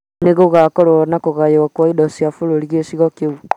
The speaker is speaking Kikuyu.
Nĩ gũgũkorwo na kũgayũo kwa indo cia bũrũri gĩcigo kĩu